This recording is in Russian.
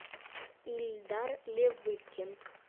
ильдар левыкин